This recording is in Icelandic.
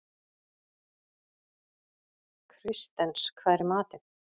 Kristens, hvað er í matinn?